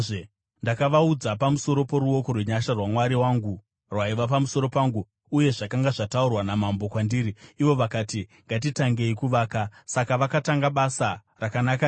Ndakavaudza pamusoro poruoko rwenyasha rwaMwari wangu rwaiva pamusoro pangu uye zvakanga zvataurwa namambo kwandiri. Ivo vakati, “Ngatitangei kuvaka.” Saka vakatanga basa rakanaka iri.